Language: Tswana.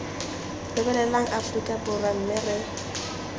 lebelela aforika borwa mme re